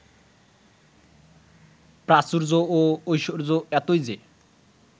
প্রাচুর্য ও ঐশ্বর্য এতই যে